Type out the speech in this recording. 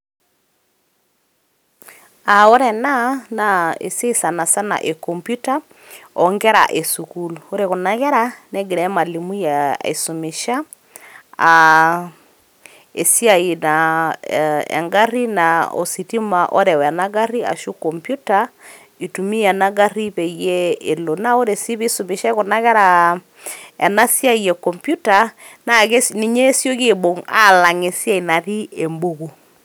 Aa ore ena naa esiai sanasana e computer oonkera esukuul. ore kuna kerra negira emwalimui aisumisha aa esiaai ee engari naa ositima oreu ena gari ashu computer itumia ena gari peyie elo. naa ore sii isumishai kuna kerra ena siai e computer naa ninye esioki aibung alang esiai natii embuku.